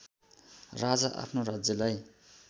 राजा आफ्नो राज्यलाई